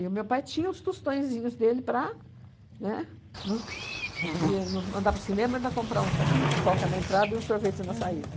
o meu pai tinha os tostõezinhos dele para, né, nos ia nos mandar para o cinema e comprar um saquinho de pipoca na entrada e um sorvete na saída.